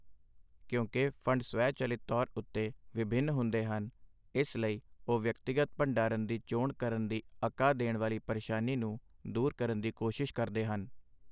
ਕਿਉਂਕਿ ਫੰਡ ਸਵੈ- ਚੱਲਿਤ ਤੌਰ ਉੱਤੇ ਵਿਭਿੰਨ ਹੁੰਦੇ ਹਨ, ਇਸ ਲਈ ਉਹ ਵਿਅਕਤੀਗਤ ਭੰਡਾਰਨ ਦੀ ਚੋਣ ਕਰਨ ਦੀ ਅਕਾ ਦੇਣ ਵਾਲੀ ਪਰੇਸ਼ਾਨੀ ਨੂੰ ਦੂਰ ਕਰਨ ਦੀ ਕੋਸ਼ਿਸ਼ ਕਰਦੇ ਹਨ।